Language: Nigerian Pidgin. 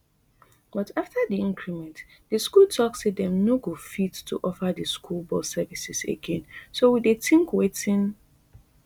but afta di increment di school tok say dem no go fit to offer di school bus services again so we dey tink wetin